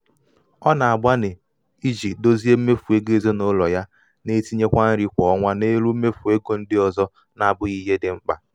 ọ na- agbani iji dozie mmefu ego ezinụlọ ya na-etinye nri kwa ọnwa n’elu mmefu ego ndị ọzọ na-abụghị ihe dị mkpa.